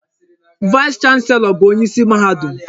Vaịs chanselọ bụ onyeisi mahadum.